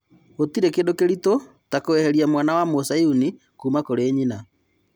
Gũtirĩ kĩndũ kĩritũ ta-kũeheria mwana wa Muyazidi kuuma kũri nyina.